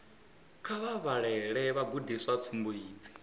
kha vha vhalele vhagudiswa tsumbo idzi